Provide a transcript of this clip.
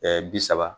bi saba